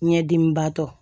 Ɲɛdimibatɔ